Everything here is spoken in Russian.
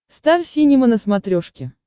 стар синема на смотрешке